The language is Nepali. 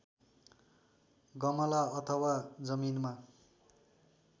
गमला अथवा जमिनमा